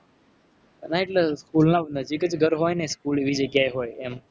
ના એટલે school નાં નજીક જ ઘર હોય ને school એવી જગ્યા એ હોય એમ